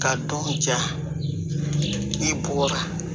Ka dɔn ja i bɔ la